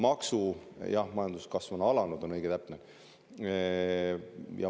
Jah, õige ja täpne oleks öelda, et majanduskasv on alanud.